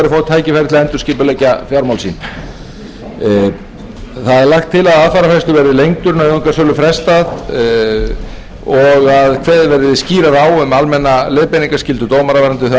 er til að aðfararfrestur verði lengdur nauðungarsölu frestað og að kveðið verði skýrar á um almenna leiðbeiningarskyldu dómara varðandi þau